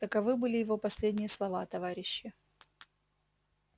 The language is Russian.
таковы были его последние слова товарищи